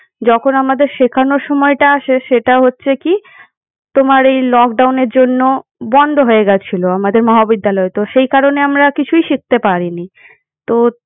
যখন আমাদের শেখানোর সময়টা আসে সেটা হচ্ছে কি তোমার এই lockdown এর জন্য বন্ধ হয়েগেছিল আমাদের মহাবিদ্যালয়। তো সেই কারণে আমরা কিছুই শিখতে পারিনি। তো